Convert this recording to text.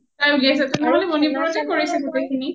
তাই উলিয়াইছে তেনেহলে মণিপুৰতে কৰিছে গোটেই খিনি